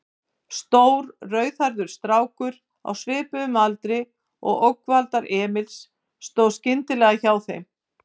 Stór, rauðhærður strákur á svipuðum aldri og ógnvaldar Emils stóð skyndilega hjá þeim.